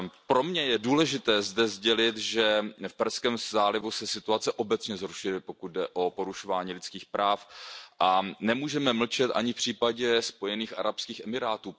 Pro mě je důležité zde sdělit, že v Perském zálivu se situace obecně zhoršuje, pokud jde o porušování lidských práv, a nemůžeme mlčet ani v případě Spojených arabských emirátů.